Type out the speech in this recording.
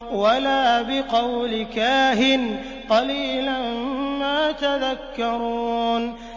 وَلَا بِقَوْلِ كَاهِنٍ ۚ قَلِيلًا مَّا تَذَكَّرُونَ